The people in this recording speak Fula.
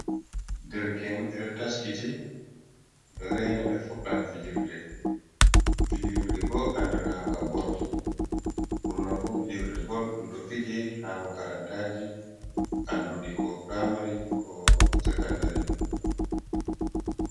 Derke'en ɓe taskiti reena ɓe fuɗɗan fijirde. fijirde bo andira'nga bol. Ɓurnafu fijirde bol ɗum ɗo fije ha makarantaji anduɗi ko primari ko secendari.